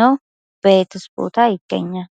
ነው? በየት ቦታስ ይይገኛል?